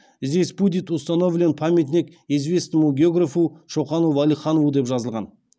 здесь будет установлен памятник известному географу чокану валиханову деп жазылған